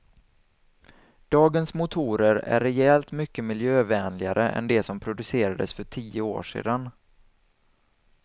Dagens motorer är rejält mycket miljövänligare än de som producerades för tio år sedan.